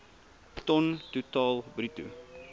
ton totaal bruto